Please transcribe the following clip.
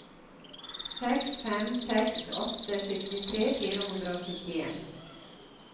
seks fem seks åtte syttitre fire hundre og syttien